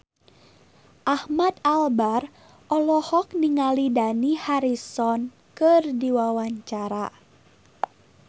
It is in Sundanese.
Ahmad Albar olohok ningali Dani Harrison keur diwawancara